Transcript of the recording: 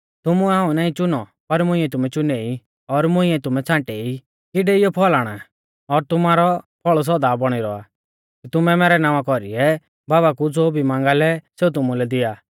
तुमुऐ हाऊं नाईं च़ुनौ पर मुंइऐ तुमै च़ुनै ई और तुमै मुंइऐ छ़ांटेई कि डेइऔ फल़ आणा और तुमारौ फल़ सौदा बौणी रौआ कि तुमै मैरै नावां कौरीऐ बाबा कु ज़ो भी मांगा लै सेऊ तुमुलै दिआ